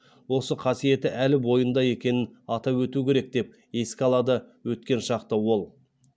осы қасиеті әлі бойында екенін атап өту керек деп еске алады өткен шақты ол